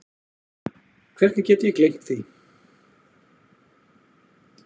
Hvernig get ég gleymt því?